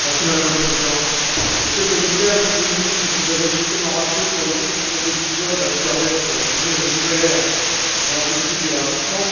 Madame la Présidente, Monsieur le Commissaire, Monsieur le Ministre, vous avez justement rappelé que l'adoption du traité de Lisbonne allait nous permettre d'ouvrir une nouvelle ère dans la politique d'élargissement,